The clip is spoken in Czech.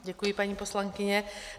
Děkuji, paní poslankyně.